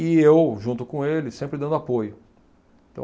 E eu, junto com ele, sempre dando apoio. Então